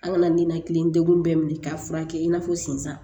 An kana ninakili degun bɛɛ minɛ k'a furakɛ in n'a fɔ sisan